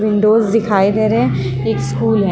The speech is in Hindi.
विंडो दिखाई दे रहे हैं एक स्कूल है|